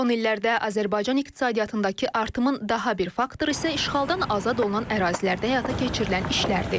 Son illərdə Azərbaycan iqtisadiyyatındakı artımın daha bir faktoru isə işğaldan azad olunan ərazilərdə həyata keçirilən işlərdir.